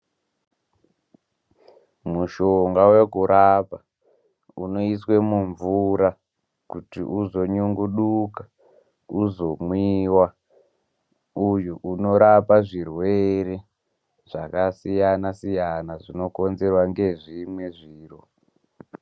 Mushonga vekurapa unoiswe mumvura kuti uzo nyunguduka uzomwiwa uyu unorapa zvirwere zvakasiyana-siyana, zvino konzerwa ngezvimwe zviro.